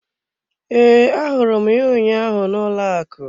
Ee, ahụrụ m ya ụnyaahụ n'ụlọ akụ.